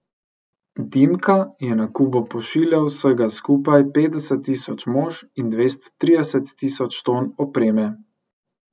Dimka je na Kubo pošiljal vsega skupaj petdeset tisoč mož in dvesto trideset tisoč ton opreme.